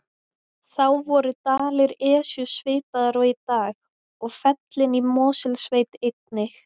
Þá voru dalir Esju svipaðir og í dag og fellin í Mosfellssveit einnig.